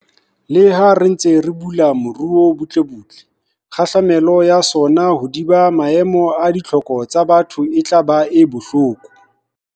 Leha re ntse re bula moruo butlebutle, kgahlamelo ya sona hodima maemo a ditlhoko tsa batho e tla ba e bohloko.